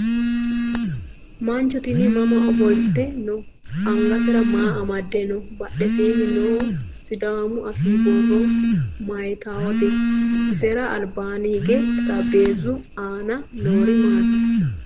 Mancho tini mama ofolite no? Angasera maa amadde no? Badheseenni noo sidaamu afii borro mayiitawote? Isera albaanni hige xarapheezu aana noori maati?